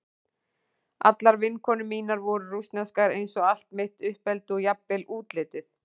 Allar vinkonur mínar voru rússneskar eins og allt mitt uppeldi og jafnvel útlitið.